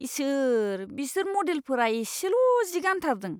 इसोर ! बिसोर मडेलफोरा एसेल' जि गान्थारदों।